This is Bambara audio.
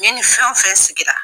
Ne nin fɛn o fɛn sigira